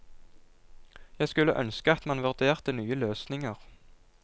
Jeg skulle ønske at man vurderte nye løsninger.